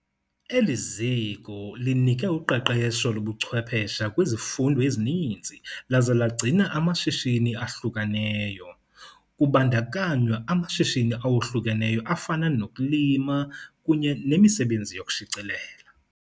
Eli ziko linike uqeqesho lobuchwephesha kwizifundo ezininzi laze lagcina amashishini ahlukeneyo, kubandakanywa amashishini awohlukeneyo afana nokulima kunye nemisebenzi yokushicilela.